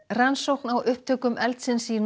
rannsókn á upptökum eldsins í